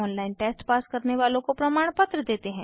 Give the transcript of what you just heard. online test pass करने वालों को प्रमाणपत्र देते हैं